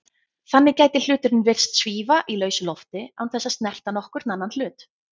Þannig gæti hluturinn virst svífa í lausu lofti án þess að snerta nokkurn annan hlut.